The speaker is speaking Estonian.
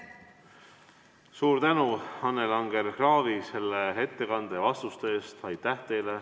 Suur tänu, Annela Anger-Kraavi, selle ettekande ja vastuste eest!